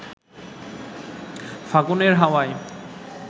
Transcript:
ফাগুনের হাওয়ায়